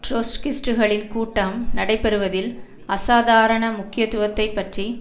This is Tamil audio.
ட்ரொட்ஸ்கிஸ்ட்டுகளின் கூட்டம் நடைபெறுவதில் அசாதாரண முக்கியத்துவத்தை பற்றி